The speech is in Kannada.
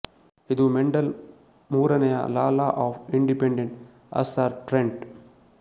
ಇದು ಮೆಂಡೆಲ್ ಮೂರನೆಯ law law of independent assortment